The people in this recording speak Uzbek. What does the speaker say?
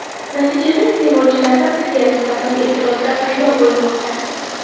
Natijada iste’molchilarda bizga nisbatan e’tirozlar paydo bo‘lmoqda.